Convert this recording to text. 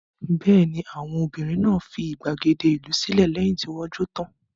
Bẹ́ẹ̀ ni, àwọn ọmọbìnrin náà fi ìgbàgede ìlú sílẹ̀ lẹ́yìn tí wọ́n jó tán.